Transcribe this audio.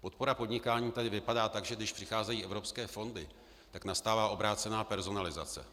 Podpora podnikání tady vypadá tak, že když přicházejí evropské fondy, tak nastává obrácená personalizace.